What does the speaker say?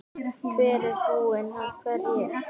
Hver er búinn að hverju?